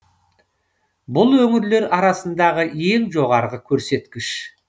бұл өңірлер арасындағы ең жоғарғы көрсеткіш